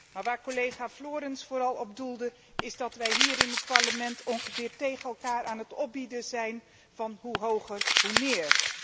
Maar waar collega Florenz vooral op doelde, is dat wij hier in het Parlement zowat tegen elkaar aan het opbieden zijn van hoe hoger, hoe meer.